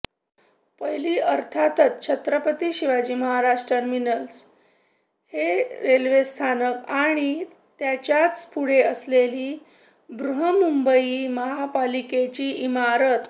पहिली अर्थातच छत्रपती शिवाजी महाराज टर्मिनस हे रेल्वेस्थानक आणि त्याच्याच पुढे असलेली बृहन्मुंबई महापालिकेची इमारत